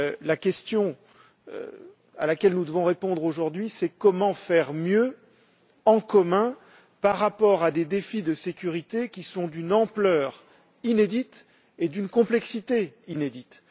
La question à laquelle nous devons répondre aujourd'hui, c'est comment faire mieux en commun par rapport à des défis de sécurité qui sont d'une ampleur et d'une complexité inédites?